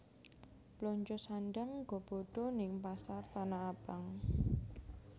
Blonjo sandhang nggo bodo ning Pasar Tanah Abang